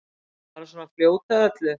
Bara svona fljót að öllu.